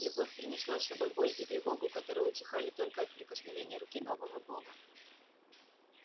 любовь принесла с собой боль и тревогу которые утихали только от прикосновения руки нового бога